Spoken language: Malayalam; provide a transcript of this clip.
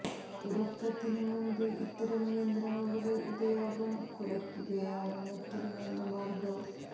ഉറക്കത്തിന് മുൻപ് ഇത്തരം യന്ത്രങ്ങളുടെ ഉപയോഗം കുറക്കുകയാണ് മറ്റൊരു നല്ല മാർഗം